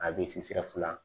A bɛ se sira fila